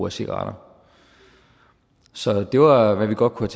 af cigaretter så det var hvad vi godt kunne